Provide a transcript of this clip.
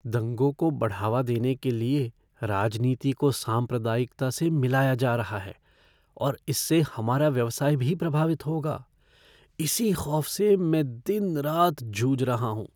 दंगों को बढ़ावा देने के लिए राजनीति को सांप्रदायिकता से मिलाया जा रहा है और इससे हमारा व्यवसाय भी प्रभावित होगा। इसी ख़ौफ़ से मैं दिन रात जूझ रहा हूँ।